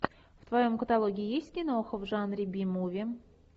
в твоем каталоге есть киноха в жанре би муви